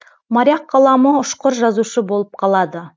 моряк қаламы ұшқыр жазушы болып қалады